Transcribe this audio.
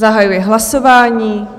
Zahajuji hlasování.